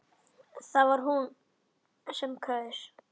Það var hún sem kaus!